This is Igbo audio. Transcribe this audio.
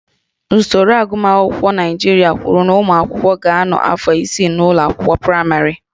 Usoro agụmakwụkwọ Naịjirịa kwuru na ụmụ akwụkwọ ga-anọ afọ isii n'ụlọ akwụkwọ praịmarị